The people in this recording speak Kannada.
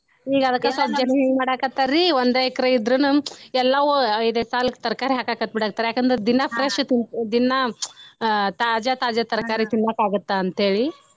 ಈಗ ಅದಕ್ಕ ಸ್ವಲ್ಪ ಜನಾ ಏನ್ ಮಾಡಾಕತ್ತಾರಿ ಒಂದ ಎಕರೆ ಇದ್ರುನು ಎಲ್ಲಾವು ಇದೆ ಸಾಲ್ಗ್ ತರಕಾರಿ ಹಾಕಾಕತ್ತ್ ಬಿಡಹತ್ಥರ್ ಯಾಕ ಅಂದ್ರ ದಿನಾ fresh ದಿನಾ ತಾಜಾ ತಾಜಾ ತರಕಾರಿ ತಿನ್ನಾಕ ಆಗುತ್ತ ಅಂತ ಹೇಳಿ.